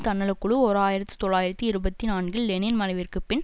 தன்னல குழு ஓர் ஆயிரத்தி தொள்ளாயிரத்து இருபத்தி நான்கில் லெனின் மறைவிற்கு பின்